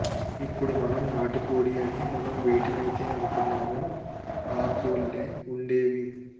ఇప్పుడు మనం నాటుకోడి అని మనం వేటినైతే అంటున్నామో ఆ కోళ్లే వుండేవి